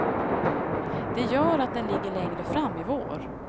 Det gör att den ligger längre fram i vår.